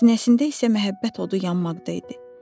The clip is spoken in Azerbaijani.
Sinəsində isə məhəbbət odu yanmaqda idi.